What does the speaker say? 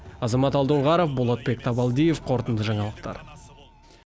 азамат алдоңғаров болотбек табалдиев қорытынды жаңалықтар